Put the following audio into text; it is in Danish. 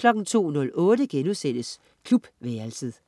02.08 Klubværelset*